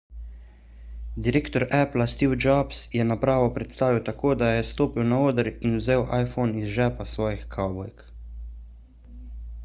direktor appla steve jobs je napravo predstavil tako da je stopil na oder in vzel iphone iz žepa svojih kavbojk